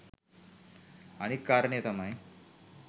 අනිත් කාරණය තමයි